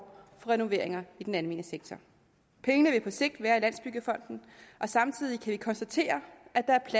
renoveringer i den almene sektor pengene vil på sigt være i landsbyggefonden og samtidig kan vi konstatere